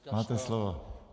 Máte slovo.